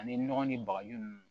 Ani nɔgɔ ni bagaji nunnu